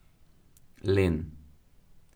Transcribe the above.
Len.